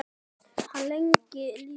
Hann lengi lifi.